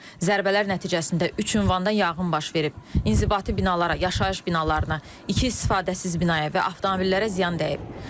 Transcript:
Zərbələr nəticəsində üç ünvanda yanğın baş verib, inzibati binalara, yaşayış binalarına, iki istifadəsiz binaya və avtomobillərə ziyan dəyib.